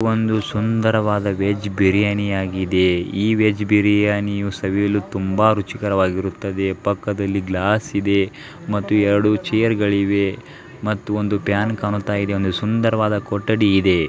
ಒಂದು ಸುಂದರವಾದ ವೆಜ್ ಬಿರಿಯಾನಿ ಆಗಿದೆ ಈ ವೆಜ್ ಬಿರಿಯಾನಿ ಯು ಸವಿಯಲು ತುಂಬಾ ರುಚಿಕರವಾಗಿರುತ್ತದೆ ಪಕ್ಕದಲ್ಲಿ ಗ್ಲಾಸ್ ಇದೆ ಮತ್ತು ಎರಡು ಚೇರು ಗಳಿವೆ ಮತ್ತು ಒಂದು ಫ್ಯಾನ್ ಕಾಣುತ್ತಾ ಇದೆ ಒಂದು ಸುಂದರವಾದ ಕೊಠಡಿ ಇದೆ.